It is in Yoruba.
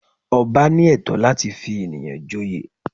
Ọba ní ẹ̀tọ́ láti fi ènìyàn joyè